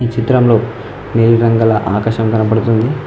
చిత్రంలో నీలిరంగు గల ఆకాశము కనబడుతుంది.